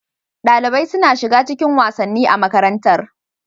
Dalibai suna shiga cikin wasanni a makarantar.